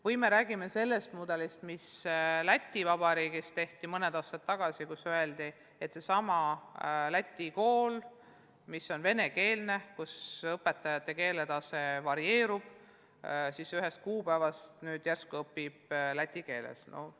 Või me räägime mudelist, mis tehti mõned aastad tagasi Läti Vabariigis, kus öeldi, venekeelsetes Läti koolides, kus õpetajate keeletase varieerub, ühest kuupäevast järsku õpitakse läti keeles?